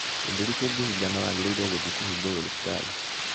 gĩthũri kingihingana wagiriire guthie kuhingurwo thibitari